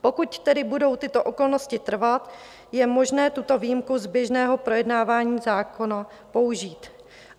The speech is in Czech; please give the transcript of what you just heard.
Pokud tedy budou tyto okolnosti trvat, je možné tuto výjimku z běžného projednávání zákona použít.